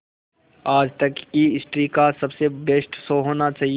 आज तक की हिस्ट्री का सबसे बेस्ट शो होना चाहिए